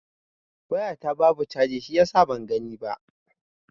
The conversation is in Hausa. Waya ta babu chargi shiyasa ban gani ba.